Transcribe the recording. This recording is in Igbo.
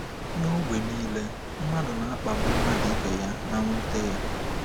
N’ọgbọ nile, mmadụ na-akpagbu mmadụ ibe ya na nwute ya